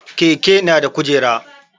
Keke na da kujera